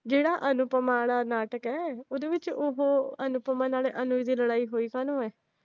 ਜਿਹੜਾ ਅਨੂਪਮਾ ਆਲਾ ਨਾਟਕ ਏ, ਉਹਦੇ ਵਿਚ ਓਹੋ ਅਨੂਪਮਾ ਨਾਲ ਅਨੁਜ ਦੀ ਲੜਾਈ ਹੋਈ ਆ